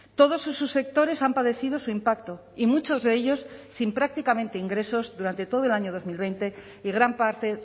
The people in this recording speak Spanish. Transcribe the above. todos sus subsectores han padecido su impacto y muchos de ellos sin prácticamente ingresos durante todo el año dos mil veinte y gran parte